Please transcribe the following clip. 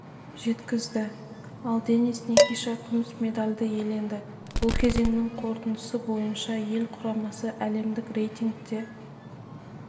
жеткізді ал денис никиша күміс медальді иеленді бұл кезеңнің қорытындысы бойынша ел құрамасы әлемдік рейтингте